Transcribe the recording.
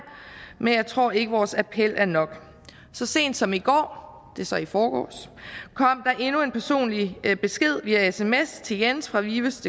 men jeg tror ikke vores appel er nok så sent som i går det er så i forgårs kom der endnu en personlig besked via sms til jens fra vivusdk